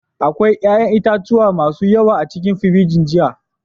Akwai 'ƴa'ƴan itatuwa masu yawa a cikin firiji jiya.